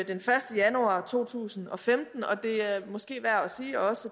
den første januar to tusind og femten og det er måske værd at sige også